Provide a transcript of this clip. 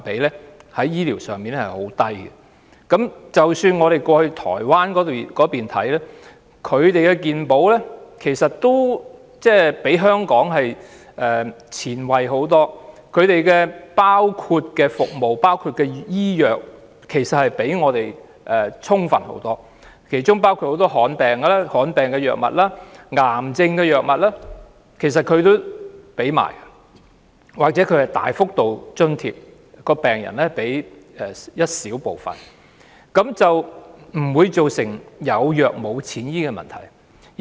即使我們前往台灣，看到當地的健康保險也比香港前衞得多，所包括的服務和醫藥也較我們充分，當中包括提供很多罕見病藥物和癌症藥物，又或會有大幅度的津貼，病人只須支付一小部分藥費便可以，亦不會造成"有藥無錢醫"的問題。